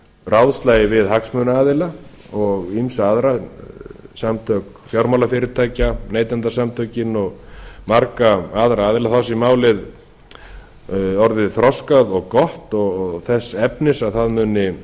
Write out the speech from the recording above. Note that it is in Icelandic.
ráðslagi við hagsmunaaðila og ýmsa aðra samtök fjármálafyrirtækja neytendasamtökin og marga aðra aðila þá sé málið orðið þroskað og gott og þess efnis að